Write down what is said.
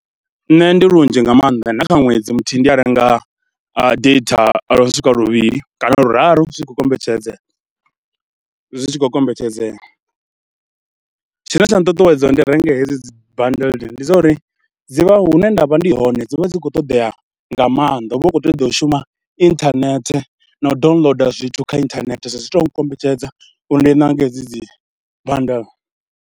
Nṋe ndi lunzhi nga maanḓa na kha ṅwedzi muthihi ndi a renga data lwo no swika luvhili kana luraru zwi tshi khou kombetshedza, zwi tshi khou kombetshedzea. Tshine tsha nṱuṱuwedza uri ndi renge hedzi dzi badele ndi zwa uri dzi vha hune nda vha ndi hone dzi vha dzi khou ṱoḓea nga maanḓa, hu vha hu khou ṱoḓea u shuma inthanethe na u downloader zwithu kha inthanethe, so zwi tou nkombetshedza uri ndi nange hedzi dzi bandeḽe.